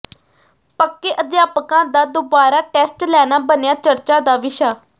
ਪੱਕੇ ਅਧਿਆਪਕਾਂ ਦਾ ਦੋਬਾਰਾ ਟੈਸਟ ਲੈਣਾ ਬਣਿਆ ਚਰਚਾ ਦਾ ਵਿਸ਼ਾ